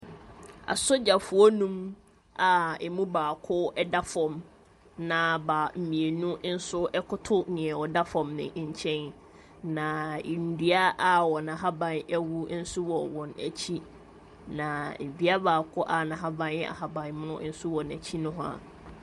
Asrafo mmienu bi koto fam a wɔrehwɛ ɔrani baako a ɔda kɛtɛ so wɔ fam. Asrafo mmienu bi nso gyina hzɔ a ɔrehwɛ wɔn. Baako hyɛ gloves wɔ ne nsa. Wɔn nyinaa hyɛ kyɛ. Dan baako si wɔn akyi.